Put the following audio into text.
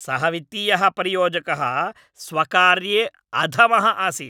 सः वित्तीयः परियोजकः स्वकार्ये अधमः आसीत्।